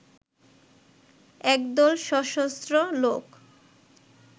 একদল সশস্ত্র লোক